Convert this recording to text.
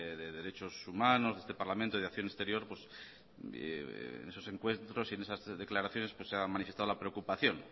de derechos humanos de este parlamento y de acción exterior esos encuentros y en esas tres declaraciones pues se han manifestado la preocupación